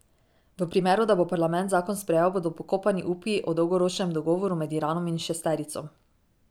V primeru, da bo parlament zakon sprejel, bodo pokopani upi o dolgoročnem dogovoru med Iranom in šesterico.